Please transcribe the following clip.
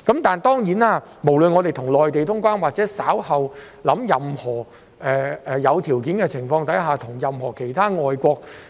當然，不論香港是要與內地通關，或是稍後在有條件的情況下與其他國外